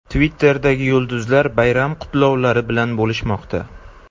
Twitterdagi yulduzlar bayram qutlovlari bilan bo‘lishmoqda .